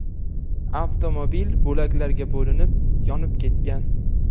Avtomobil bo‘laklarga bo‘linib, yonib ketgan.